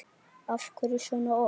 Af hverju svona oft?